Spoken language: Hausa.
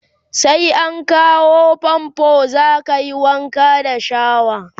sai an kawo fanfo zakayi Wanka da shawa